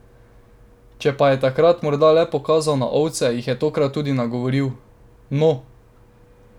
Če pa je takrat morda le pokazal na ovce, jih je tokrat tudi nagovoril: "No!